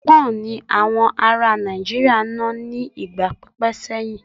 Pọ́ǹ ni àwọn ará Nàìjíríà ń ná ní ìgbà pípẹ́ sẹ́yìn.